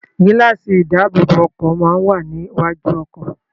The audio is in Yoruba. Gíláàsì ìdáàbòbọ̀ ọkọ̀ máa ń wà ní iwájú ọkọ̀.